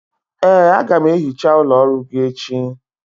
ee, a ga m ehicha ụlọ ọrụ gị echi